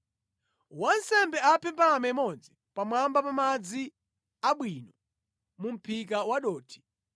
Wansembe aphe mbalame imodzi pamwamba pa madzi abwino mu mʼphika wa dothi.